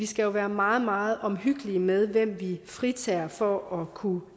skal være meget meget omhyggelige med hvem vi fritager for at kunne